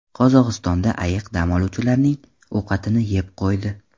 Qozog‘istonda ayiq dam oluvchilarning ovqatini yeb qo‘ydi .